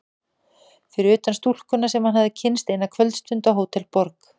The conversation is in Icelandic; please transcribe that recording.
Fyrir utan stúlkuna sem hann hafði kynnst eina kvöldstund á Hótel Borg.